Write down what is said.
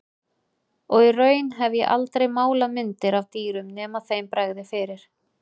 Og í raun hef ég aldrei málað myndir af dýrum nema þeim bregði fyrir.